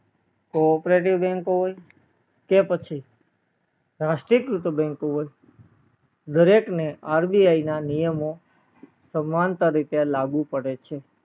cooperative bank હોય કે પછી રાષ્ટ્રીય કૃત bank હોય દરેક ને RBI ના નિયમો સમાનતા રીતે લાગુ પડે છે